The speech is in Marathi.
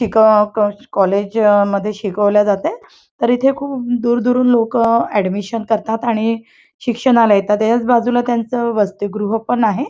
कॉलेज मध्ये शिकवल जातंय तर इथ खूप दूर दुरून लोकं ॲडमिशन करतात आणि शिक्षणाला येतात त्याच्याच बाजूला त्यांचं वसतिगृह पण आहे.